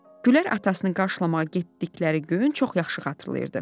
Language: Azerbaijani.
Güllər atasını qarşılamağa getdikləri günü çox yaxşı xatırlayırdı.